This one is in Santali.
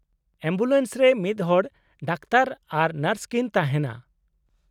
-ᱮᱢᱵᱩᱞᱮᱱᱥ ᱨᱮ ᱢᱤᱫᱦᱚᱲ ᱰᱟᱠᱛᱚᱨ ᱟᱨ ᱱᱟᱨᱥ ᱠᱤᱱ ᱛᱟᱦᱮᱱᱟ ᱾